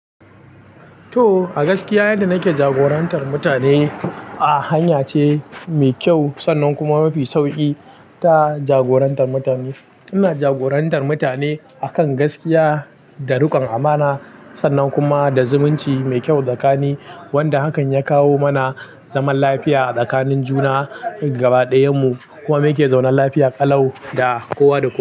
To, a gaskiya yadda nake jagorantar mutane a hanya ce mai kyau sannan kuma mafi sauƙi ta jagorantar mutane. Ina jagorantar mutane akan gaskiya da rukon amana sannan kuma da zumunci mai kyau tsakani, wanda hakan ya kawo mana zaman lafiya tsakanin juna gabaɗayan mu, kuma muke zaune lafiya ƙalau da kowa da kowa.